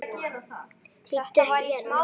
Bíddu. ekki hérna!